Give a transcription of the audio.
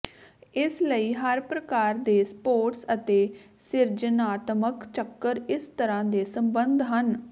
ਇਸ ਲਈ ਹਰ ਪ੍ਰਕਾਰ ਦੇ ਸਪੋਰਟਸ ਅਤੇ ਸਿਰਜਣਾਤਮਕ ਚੱਕਰ ਇਸ ਤਰ੍ਹਾਂ ਦੇ ਸੰਬੰਧ ਹਨ